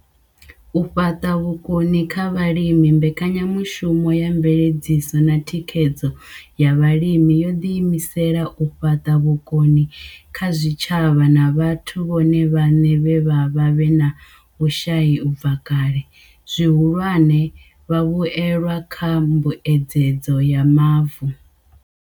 U fhaṱa vhukoni kha vhalimi Mbekanyamushumo ya Mveledziso na Thikhedzo ya Vhalimi yo ḓiimisela u fhaṱa vhukoni kha zwitshavha na vhathu vhone vhaṋe vhe vha vha vhe na vhushai u bva kale, zwihulwane, vhavhuelwa kha mbuedzedzo ya Mavu.